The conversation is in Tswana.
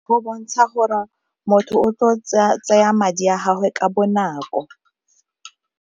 Go bontsha gore motho o tlo tsaya madi a gagwe ka bonako.